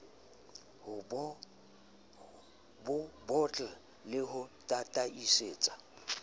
bo bottle le ho tataisetsa